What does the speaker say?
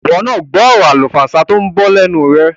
Ìwọ náà gbọ́ ọ̀rọ̀ àlùfàǹsá tó ń bọ́ lẹ́nu rẹ̀.